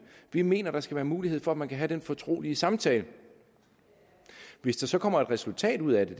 vi mener der skal være mulighed for at man kan have fortrolige samtaler hvis der så kommer et resultat ud af det